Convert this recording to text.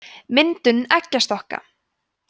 myndun eggjastokka